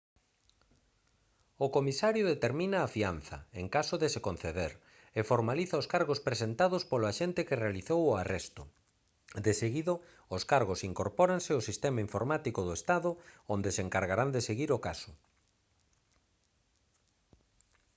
o comisario determina a fianza en caso de se conceder e formaliza os cargos presentados polo axente que realizou o arresto deseguido os cargos incorpóranse ao sistema informático do estado onde se encargarán de seguir o caso